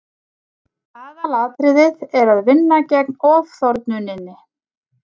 aðalatriðið er að vinna gegn ofþornuninni